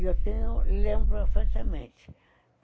E eu tenho... Lembro perfeitamente.